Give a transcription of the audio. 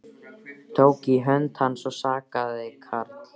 Tók í hönd hans og sagði Karl